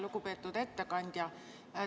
Lugupeetud ettekandja!